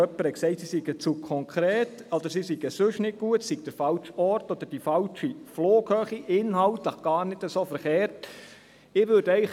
Jemand hat gesagt, sie seien zu konkret, oder es sei der falsche Ort oder die falsche Flughöhe, aber sie seien inhaltlich gar nicht so falsch.